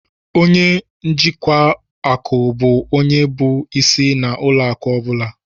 Ọnye njikwa akụ bụ ónyé bụ ịsị na ụlọ akụ ọbula